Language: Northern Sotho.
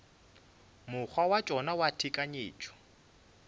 mokgwa wa tšona wa tekanyetšo